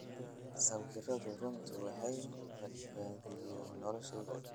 sawiradu runtii waxay badbaadiyeen noloshayda."